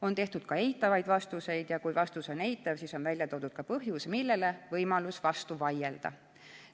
On antud ka eitavaid vastuseid ja kui vastus on eitav, siis on välja toodud põhjus, millele on võimalus vastu vaielda.